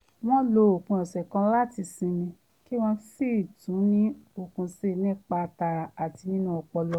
wọ́n lo òpin ọ̀sẹ̀ kan láti sinmi kí wọ́n sì tún ní okun síi nípa tara àti nínú ọpọlọ